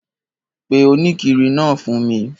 Pe òníkiri naa fun mi